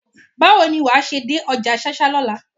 Báwo ni wàá ṣe dé ọjà ṣáṣá lọ́la?